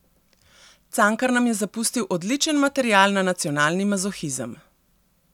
Cankar nam je zapustil odličen material na nacionalni mazohizem.